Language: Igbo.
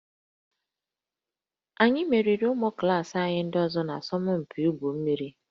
Anyị meriri ụmụ klaasị anyị ndị ọzọ n'asọmpi igwu mmiri